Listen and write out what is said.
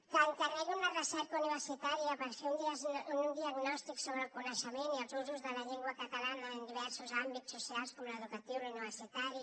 que encarregui una recerca universitària per fer un diagnòstic sobre el coneixement i els usos de la llengua catalana en diversos àmbits socials com l’educatiu l’universitari